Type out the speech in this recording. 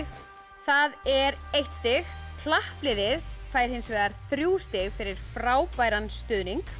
það er eitt stig klappliðið fær hins vegar þrjú stig fyrir frábæran stuðning